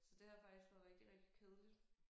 Så det har faktisk været rigtig rigtig kedeligt